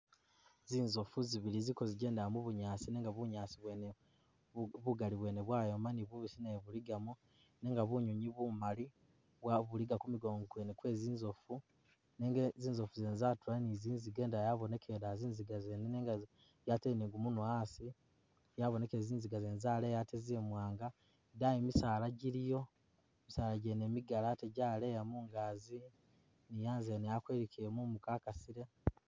Zi nzofu zibili ziliko zi gendela mu bunyaasi nenga bunyaasi bwene bugali bwene bwayoma ni bubisi nabwo buligamo nenga bu nywinywi bumali buliga ku migongo kwe zi nzofu nenga zinzofu zene zatula ni zi nziga indala yabonekele dala zi nziga zene nenga yatele ni gu munwa asi , zabonekele zi nziga zene yaleya ate zi mwanga,i daayi misaala giliyo, misaala gene migali ate gyaleya mungazi ni anze ene akwelukile mumu kakasile.